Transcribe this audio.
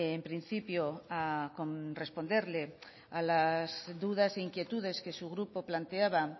en principio a responderle a las dudas e inquietudes que su grupo planteaba